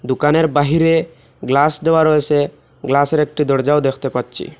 দোকানের বাহিরে গ্লাস দেওয়া রয়েছে গ্লাসের একটি দরজাও দেখতে পাচ্ছি।